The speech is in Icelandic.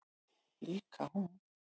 Líka hún.